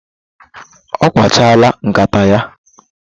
Ọ kpachala nkata ya